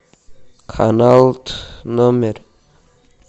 канал номер